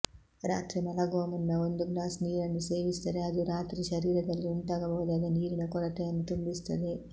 ರಾತ್ರಿ ಮಲಗುವ ಮುನ್ನ ಒಂದು ಗ್ಲಾಸ್ ನೀರನ್ನು ಸೇವಿಸಿದರೆ ಅದು ರಾತ್ರಿ ಶರೀರದಲ್ಲಿ ಉಂಟಾಗಬಹುದಾದ ನೀರಿನ ಕೊರತೆಯನ್ನು ತುಂಬಿಸುತ್ತದೆ